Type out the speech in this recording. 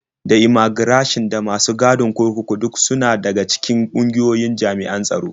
Da immaigirashin da masu gadin kurkuku duk suna daga cikin ƙungiyoyin jami'an tsaro.